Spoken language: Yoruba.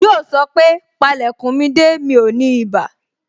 Yoo sọ pé, Pale kun mi de, mi ò ní ibà